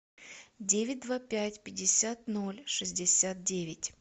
девять два пять пятьдесят ноль шестьдесят девять